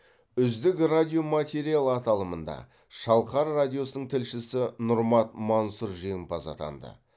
үздік радиоматериал аталымында шалқар радиосының тілшісі нұрмат мансұр жеңімпаз атанды